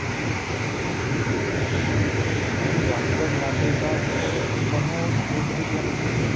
ਹੈਨਾ ਹੁਣ ਜਾਣ ਵੈਸੇ ਮਨਾਲੀ ਤਾਂ ਤੁਹਾਨੂੰ ਗੱਡੀ ਲਿਜਾਣੀ ਪੈਣੀ ਏ